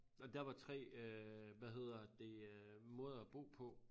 Og dér var 3 øh hvad hedder det øh måder at bo på